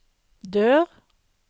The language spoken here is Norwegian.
dør